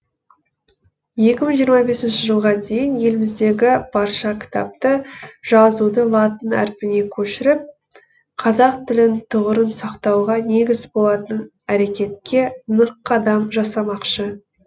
екі мың жиырма бесінші жылға дейін еліміздегі барша кітапты жазуды латын әрпіне көшіріп қазақ тілін тұғырын сақтауға негіз болатын әрекетке нық қадам жасамақшы